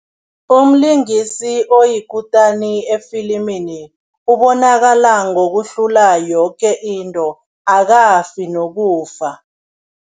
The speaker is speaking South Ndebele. Umlingisi oyikutani efilimini ubonakala ngokuhlula yoke into, akafi nokufa.